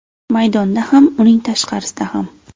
Maydonda ham, uning tashqarisida ham.